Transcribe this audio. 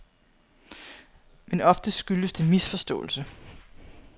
Men oftest skyldes det misforståelse.